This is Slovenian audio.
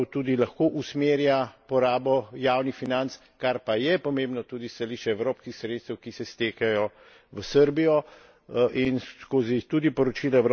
In mislim, da na ta način pravzaprav tudi lahko usmerja porabo javnih financ, kar pa je pomembno tudi s stališča evropskih sredstev, ki se stekajo v Srbijo.